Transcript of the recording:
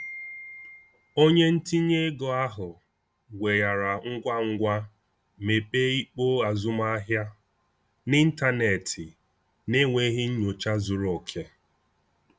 Onye ntinye ego ahụ weghaara ngwa ngwa mepee ikpo azụmahịa n’ịntanetị n’enweghị nnyocha zuru oke.